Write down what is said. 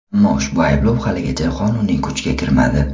Ammo ushbu ayblov haligacha qonuniy kuchga kirmadi.